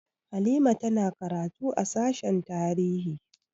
Halima ta na karatu a sashen tarihi